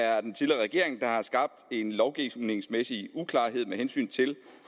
er den tidligere regering der har skabt en lovgivningsmæssig uklarhed med hensyn til